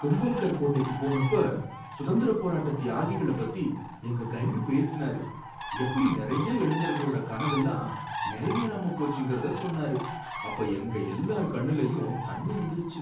கும்பல்கர் கோட்டைக்கு போனப்ப சுதந்திரப் போராட்ட தியாகிகள பத்தி எங்க கைடு பேசினாரு, எப்படி நறைய இளைஞர்களோட கனவெல்லாம் நிறைவேறாம போச்சுங்கிறத சொன்னாரு, அப்ப எங்க எல்லார் கண்ணுலயும் தண்ணி வந்துருச்சு.